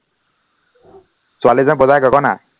ছোৱালীয়ে যে বজায় গগণা